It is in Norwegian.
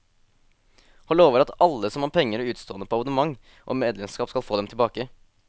Han lover at alle som har penger utestående på abonnement og medlemskap skal få dem tilbake.